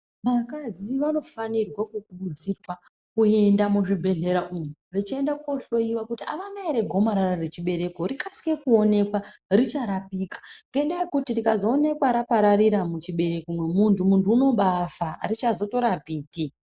Vakadzi vanofanirwe kukurudzirwa kuyenda muzvibhedhlera umu. Vechiyenda kohloyiwa kuti havana here gomarara rechibereko rikasire kuwoneka richarapika, ngendaha yekuti rikazowoneka rapararira muchibereko momuntu, muntu unobafa, harichazotorapiki.